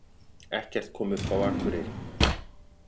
Ekkert kom upp á Akureyri